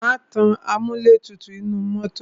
Má tan amúlẹ̀tutù inú mọ́tọ̀.